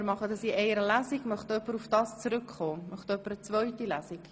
Wünscht jemand eine zweite Lesung?